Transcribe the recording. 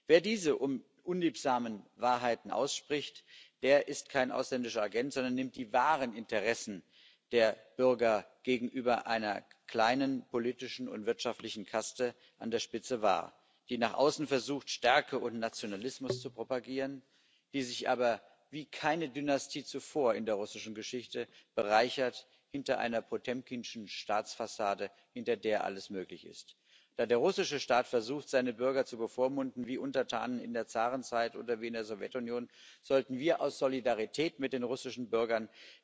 Wer diese unliebsamen Wahrheiten ausspricht, der ist kein ausländischer Agent, sondern nimmt die wahren Interessen der Bürger gegenüber einer kleinen politischen und wirtschaftlichen Kaste an der Spitze wahr, die nach außen versucht, Stärke und Nationalismus zu propagieren, die sich aber wie keine Dynastie zuvor in der russischen Geschichte bereichert hinter einer potemkinschen Staatsfassade, hinter der alles möglich ist. Da der russische Staat versucht, seine Bürger zu bevormunden wie Untertanen in der Zarenzeit oder wie in der Sowjetunion, sollten wir unsere Solidarität mit den russischen Bürgern